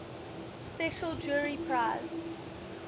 special jury prize